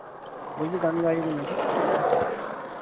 বলছি গান গাইবে না ঠিক আছে